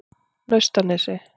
Naustanesi